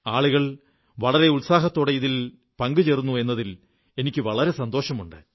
ആളുകൾ വളരെ ഉത്സാഹത്തോടെ ഇതിൽ ചേരുന്നു എന്നതിൽ എനിക്കു വളരെ സന്തോഷമുണ്ട്